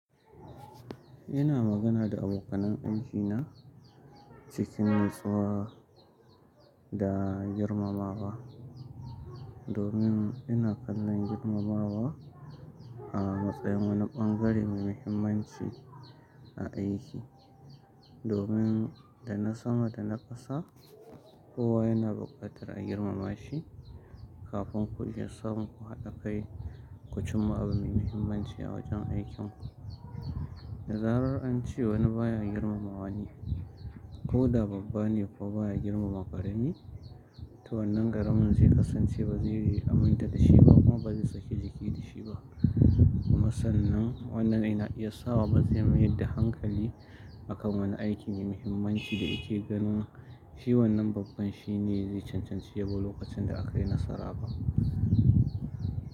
Ina magana da abokanan aikina cikin natsuwa da girmamawa. Domin ina kallon girmamawa a matsayin wani bangare mai muhimmanci a aiki. Domin da na sama da na ƙasa, kowa yana buƙatar a girmama shi kafin ku iya samun ku haɗa kai ku cimma abu mai muhimmanci a wajen aikinku. Da zarar an ce wani baya girmamawa ne, ko da babban ne ko baya girmama ƙarami, to wannan garamin zai kasance ba zai aminta da shi ba kuma ba zai saki jiki da shi ba. Kuma sannan wannan yana iya sa ba zai mayar da hankali akan wani aiki mai muhimmanci da yake ganin shi wannan babban shine zai cancanci ya bi lokacin da aka yi nasara ba.